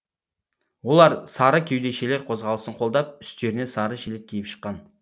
олар сары кеудешелер қозғалысын қолдап үстеріне сары жилет киіп шыққан